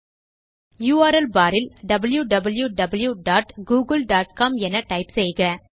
URL barஇல் wwwgooglecom என type செய்க